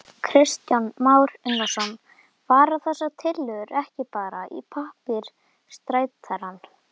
Kristján Már Unnarsson: Fara þessar tillögur ekki bara í pappírstætarann?